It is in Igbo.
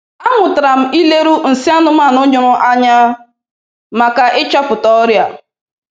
A mụtara m ileru nsị anụmanụ nyụrụ anya maka ịchọpụta ọrịa.